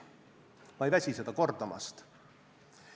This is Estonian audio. Ma ei väsi seda kordamast.